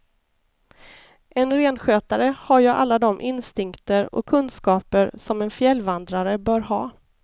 En renskötare har ju alla de instinkter och kunskaper som en fjällvandrare bör ha.